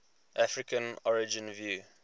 african origin view